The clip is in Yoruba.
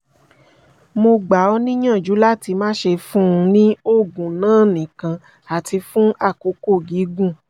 mo gbà ọ́ níyànjú láti máṣe fún un ní oògùn náà nìkan àti fún àkókò gígùn